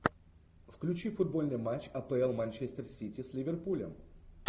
включи футбольный матч апл манчестер сити с ливерпулем